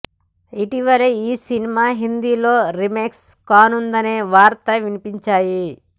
ఇటీవలే ఈ సినిమా హిందీలో రీమేక్ కానుందనే వార్తలు వినిపించాయి